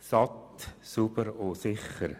Satt, sauber und sicher.